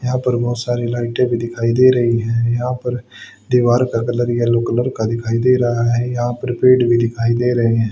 यहां पर बहुत सारे लाइटे भी दिखाई दे रही है यहां पर दीवार का कलर येलो कलर का दिखाई दे रहा है यहां पर पेड़ भी दिखाई दे रहे --